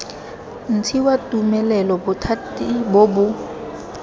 ntshiwa tumelelo bothati bo bo